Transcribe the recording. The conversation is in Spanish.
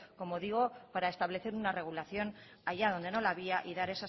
como digo para establecer una regulación allá donde no la había y dar